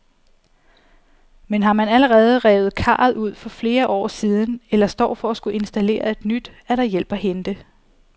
Men har man allerede revet karret ud for flere år siden eller står for at skulle installere et nyt, er der hjælp at hente.